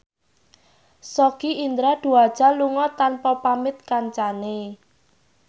Sogi Indra Duaja lunga tanpa pamit kancane